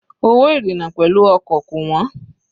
Owó ìrìna pẹ̀lú ọkọ̀ kò wọ́n.